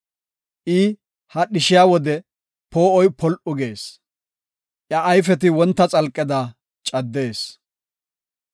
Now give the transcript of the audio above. I hadhishiya wode poo7oy pol7u gees; iya ayfeti wonta xalqeda caddees.